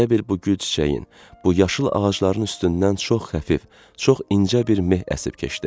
Elə bil bu gül çiçəyin, bu yaşıl ağacların üstündən çox xəfif, çox incə bir meh əsib keçdi.